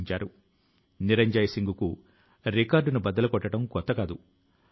ఈ విభాగం waste paper తో స్టేశనరీ ని తయారు చేసేందుకు కూడా కృషి చేస్తోంది